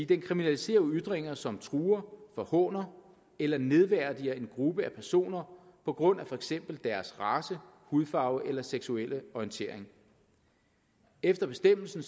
den kriminaliserer ytringer som truer forhåner eller nedværdiger en gruppe af personer på grund af for eksempel deres race hudfarve eller seksuelle orientering efter bestemmelsen